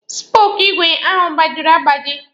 Spooku igwe ahụ gbajiri agbaji.